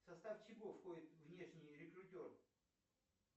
в состав чего входит внешний рекрутер